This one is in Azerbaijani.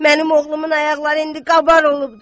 Mənim oğlumun ayaqları indi qabar olubdu.